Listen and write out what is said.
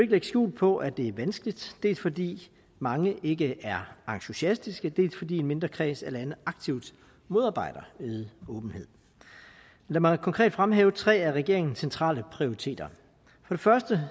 lægge skjul på at det er vanskeligt dels fordi mange ikke er entusiastiske dels fordi en mindre kreds af lande aktivt modarbejder åbenhed lad mig konkret fremhæve tre af regeringens centrale prioriteter for det